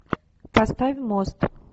поставь мост